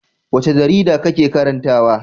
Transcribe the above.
Wace jarida kake karantawa?